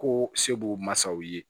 Ko sebo masaw ye